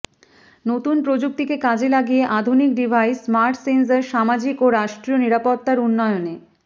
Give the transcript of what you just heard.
নতুন প্রযুক্তিকে কাজে লাগিয়ে আধুনিক ডিভাইস স্মার্ট সেন্সর সামাজিক ও রাষ্ট্রীয় নিরাপত্তার উন্নয়নে